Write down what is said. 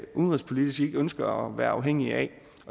udenrigspolitisk ikke ønsker at være afhængige af